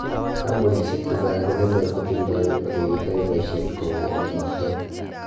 kampunishek chechang komeche kotindoi oleaitai paishet kou olemaktai